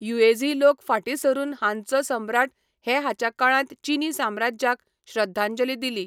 Yuezhi लोक फाटीं सरून हानचो सम्राट हे हाच्या काळांत चीनी साम्राज्याक श्रद्धांजली दिली.